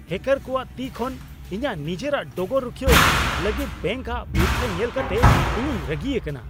ᱦᱮᱹᱠᱟᱨ ᱠᱚᱣᱟᱜ ᱛᱤ ᱠᱷᱚᱱ ᱤᱧᱟᱹᱜ ᱱᱤᱡᱮᱨᱟᱜ ᱰᱚᱜᱚᱨ ᱨᱩᱠᱷᱤᱭᱟᱹᱣ ᱞᱟᱹᱜᱤᱫ ᱵᱮᱝᱠ ᱟᱜ ᱵᱤᱨᱛᱷᱟᱹ ᱧᱮᱞ ᱠᱟᱛᱮ ᱤᱧᱤᱧ ᱨᱟᱹᱜᱤ ᱟᱠᱟᱱᱟ ᱾